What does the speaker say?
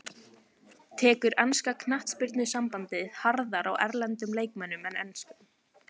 Tekur enska knattspyrnusambandið harðar á erlendum leikmönnum en enskum?